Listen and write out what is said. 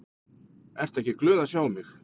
Ertu ekki glöð að sjá mig?